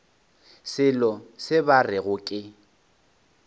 selo se ba rego ke